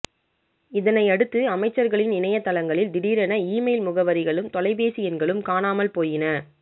இதனையடுத்து அமைச்சர்களின் இணையதளங்களில் திடீரென இமெயில் முகவரிகளும் தொலைபேசி எண்களும் காணாமல் போயின